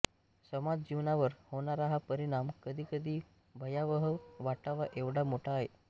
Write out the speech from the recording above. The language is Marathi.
समाज जीवनावर होणारा हा परिणाम कधी कधी भयावह वाटावा एवढा मोठा आहे